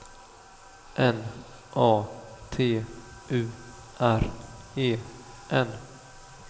N A T U R E N